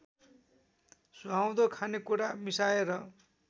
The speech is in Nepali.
सुहाउँदो खानेकुरा मिसाएर